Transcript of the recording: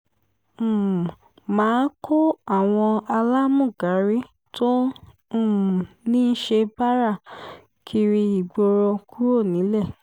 um má a kó àwọn alámúgárí tó um ń ṣe báárà kiri ìgboro kúrò nílẹ̀